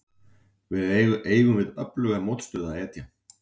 Við eigum við öfluga mótstöðumenn að etja.